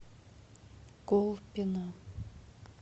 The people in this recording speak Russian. колпино